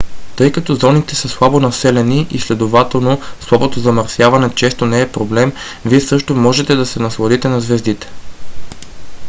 тъй като зоните са слабо населени и следователно слабото замърсяване често не е проблем вие също ще можете да се насладите на звездите